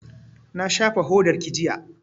Na shafa hodarki jiya